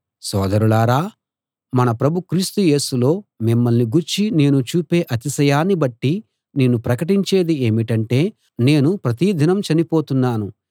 సోదరులారా మన ప్రభు క్రీస్తు యేసులో మిమ్మల్ని గూర్చి నేను చూపే అతిశయాన్ని బట్టి నేను ప్రకటించేది ఏమిటంటే నేను ప్రతి దినం చనిపోతున్నాను